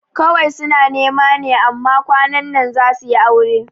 Kawai suna nema ne amma kwanan za suyi aure